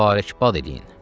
Mübarəkbad eləyin.